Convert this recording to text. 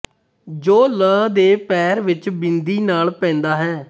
ਜੋ ਲ ਦੇ ਪੈਰ ਵਿੱਚ ਬਿੰਦੀ ਨਾਲ ਪੈਂਦਾ ਹੈ